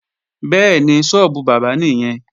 Bẹ́ẹ̀ni, sọ́ọ́bù bábà nìyẹn